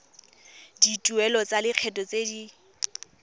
dituelo tsa lekgetho tse di